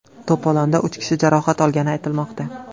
To‘polonda uch kishi jarohat olgani aytilmoqda.